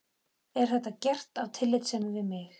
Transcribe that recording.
Er þetta gert af tillitssemi við mig?